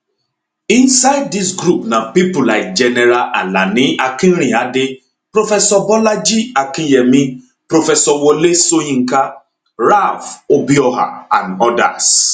inside dis group na pipo like general alani akinrinade professor bolaji akinyemi professor wole soyinka ralph obioha and odas